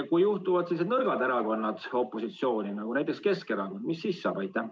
Kui juhtuvad nõrgad erakonnad opositsiooni, näiteks Keskerakond, mis siis saab?